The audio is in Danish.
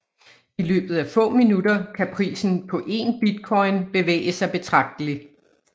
I løbet af få minutter kan prisen på én bitcoin bevæge sig betragteligt